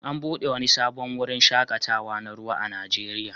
An buɗe wani sabon wurin shaƙatawa na ruwa a Najeriya